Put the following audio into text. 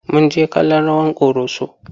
Mun jjke kallon rawar ƙoroso.